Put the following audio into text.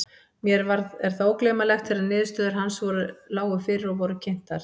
Mér er það ógleymanlegt þegar niðurstöður hans lágu fyrir og voru kynntar.